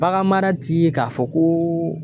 Bagan mara ti k'a fɔ ko